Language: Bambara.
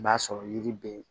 I b'a sɔrɔ yiri be ye